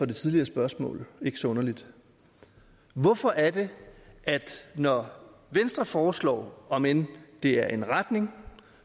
det tidligere spørgsmål ikke så underligt hvorfor er det at når venstre foreslår om end det er en retning